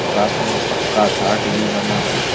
साथ में पक्का घाट भी बना है।